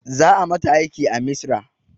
Za a mata aiki a misra